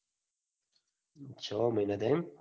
છો મહિના થયા. એમ